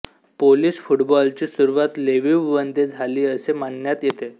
Polish फुटबॉलची सुरुवात लिव्हिवमध्ये झाली असे मानण्यात येते